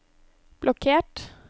blokkert